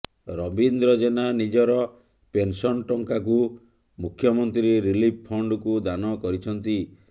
ରବୀନ୍ଦ୍ର ଜେନା ନିଜର ପେନସନ ଟଙ୍କାକୁ ମୁଖ୍ୟମନ୍ତ୍ରୀ ରିଲିଫ ଫଣ୍ଡକୁ ଦାନ କରିଛନ୍ତି